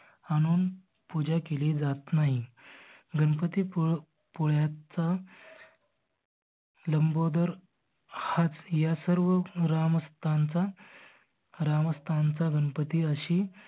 आणून पुजा केली जात नाही. गणपती पुळयाचा लंबोदर हाच ह्या सर्व ग्रामस्थांचा ग्रामस्थांचा गणपती अशी